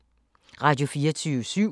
Radio24syv